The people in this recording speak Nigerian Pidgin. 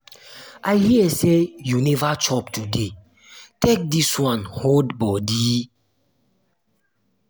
i hear say you never chop today take dis wan hold body